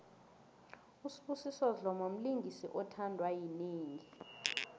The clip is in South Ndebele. usbusiso dlomo mlingisi othandwa yinengi